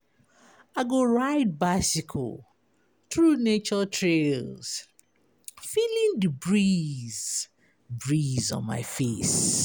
I go ride bicycle through nature trails, feeling di breeze breeze on my face.